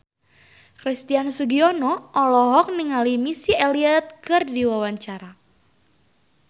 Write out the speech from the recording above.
Christian Sugiono olohok ningali Missy Elliott keur diwawancara